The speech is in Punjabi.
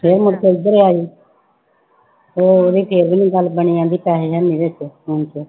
ਫਿਰ ਮੁੜਕੇ ਇੱਧਰ ਆਏ ਉਹ ਉਹਦੀ ਫਿਰ ਵੀ ਗੱਲ ਬਣੀ ਕਹਿੰਦੀ ਪੈਸੇ ਹੈ ਨੀ ਵਿੱਚ phone ਚ